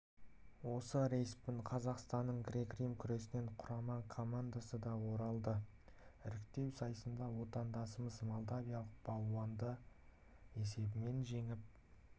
осы рейспен қазақстанның грек-рим күресінен құрама командасы да оралады іріктеу сайысында отандасымыз молдавиялық балуанды есебімен жеңіп